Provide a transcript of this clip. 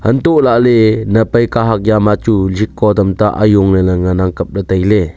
hantoh lahley nap ai kahak jama chu sheko tamta ajong ley ley ngan ang kap ley tai ley.